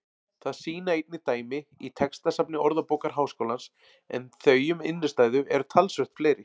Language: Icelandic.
Það sýna einnig dæmi í textasafni Orðabókar Háskólans en þau um innstæðu eru talsvert fleiri.